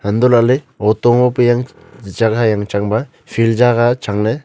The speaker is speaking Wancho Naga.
untoh lahley auto ngope yang chang hai yangchang ba field jaga changley.